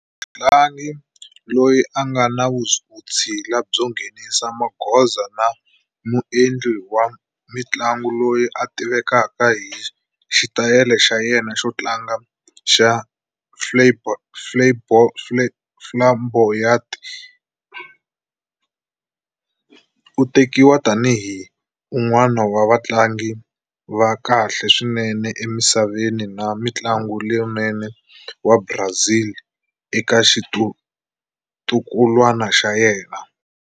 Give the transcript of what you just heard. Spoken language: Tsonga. Mutlangi loyi a nga na vutshila byo nghenisa magoza na muendli wa mintlangu loyi a tivekaka hi xitayili xa yena xo tlanga xa flamboyant, u tekiwa tani hi un'wana wa vatlangi va kahle swinene emisaveni na mutlangi lonene wa Brazil eka xitukulwana xa yena.